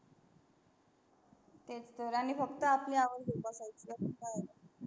तेच थर आनी फक्‍त आपली आवड जोपासायची.